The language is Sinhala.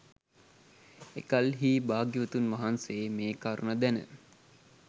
එකල්හී භාග්‍යවතුන් වහන්සේ මෙකරුණ දැන